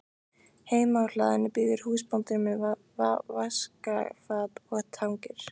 Heima á hlaðinu bíður húsbóndinn með vaskafat og tengur.